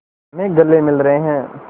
में गले मिल रहे हैं